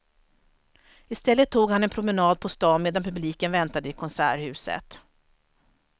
Istället tog han en promenad på stan medan publiken väntade i konserthuset.